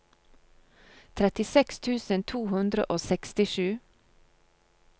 trettiseks tusen to hundre og sekstisju